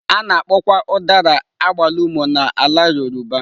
A na-akpọkwa Udara agbalumo na ala yoruba.